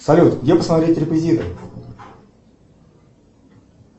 салют где посмотреть реквизиты